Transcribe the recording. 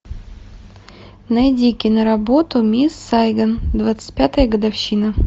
найди киноработу мисс сайгон двадцать пятая годовщина